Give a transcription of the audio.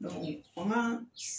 Ne ko o ma